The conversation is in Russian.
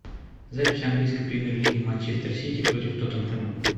запись английской премьер лиги манчестер сити против тоттенхэма